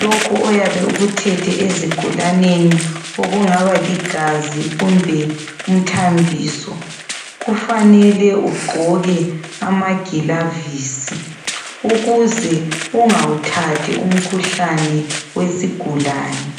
lokho oyabe ukuthethe ezigulaneni okungaba ligazi kumbe umthambiso kufanele ugqoke amagilavisi ukuze ungawuthathi umkhuhlane wesigulane.